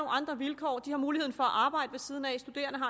andre vilkår de har muligheden for at arbejde ved siden af